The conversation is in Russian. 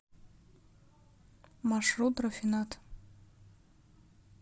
маршрут рафинад